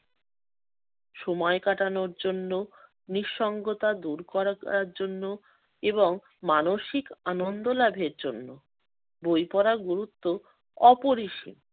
সময় কাটানোর জন্য, নিঃসঙ্গতা দূর করার জন্য এবং মানসিক আনন্দ লাভের জন্য বই পড়ার গুরুত্ব অপরিসীম।